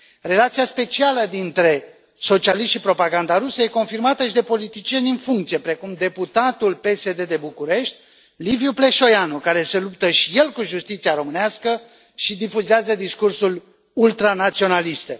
Relația specială dintre socialiști și propaganda rusă este confirmată și de politicieni în funcție, precum deputatul PSD de București Liviu Pleșoianu, care se luptă și el cu justiția românească și difuzează discursuri ultranaționaliste.